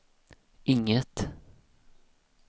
inget